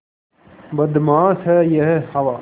बदमाश है यह हवा